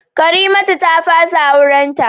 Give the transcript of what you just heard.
Karimatu ta fasa aurenta